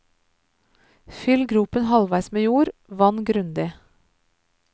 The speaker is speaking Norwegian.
Fyll gropen halvveis med jord, vann grundig.